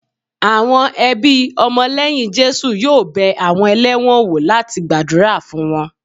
Àwọn ẹbí ọmọ lẹ́yìn Jésù yóò bẹ àwọn ẹlẹ́wọ̀n wò láti gbàdúrà fún wọn